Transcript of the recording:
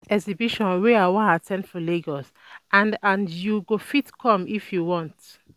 E get dis exhibition wey I wan at ten d for Lagos and and you go fit come if you want